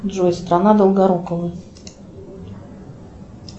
джой страна долгорукова